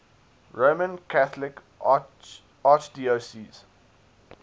roman catholic archdiocese